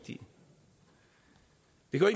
har